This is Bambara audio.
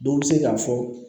Dɔ bɛ se k'a fɔ